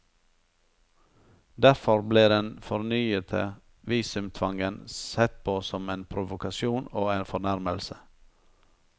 Derfor ble den fornyete visumtvangen sett på som en provokasjon og en fornærmelse.